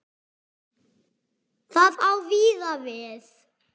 Það á víða við.